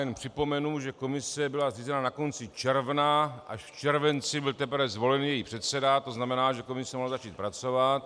Jen připomenu, že komise byla zřízena na konci června, až v červenci byl teprve zvolen její předseda, to znamená, že komise mohla začít pracovat.